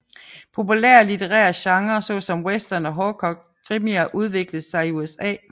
Populære litterære genre såsom Western og hårdkogt krimier udviklede sig i USA